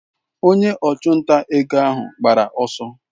Onye ọchụnta ego ahụ gbara ọsọ.